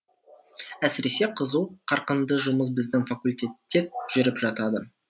әсіресе қызу қарқынды жұмыс біздің факультетте жүріп жатады